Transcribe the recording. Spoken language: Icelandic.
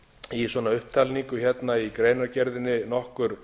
í svona upptalningu hérna í greinargerðinni nokkur